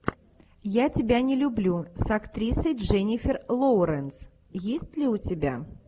я тебя не люблю с актрисой дженнифер лоуренс есть ли у тебя